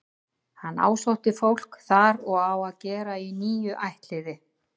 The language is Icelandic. Hann ásótti fólk þar og á að gera í níu ættliði.